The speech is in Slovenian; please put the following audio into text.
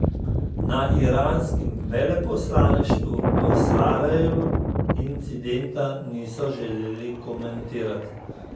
Na iranskem veleposlaništvu v Sarajevu incidenta niso želeli komentirati.